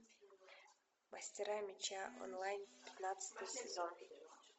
мастера меча онлайн пятнадцатый сезон